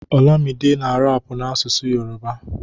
olamide na rapu n'asụsụ Yoruba